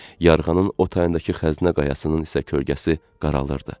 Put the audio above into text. Yarğanın o tayındakı xəzinə qayasının isə kölgəsi qaralırdı.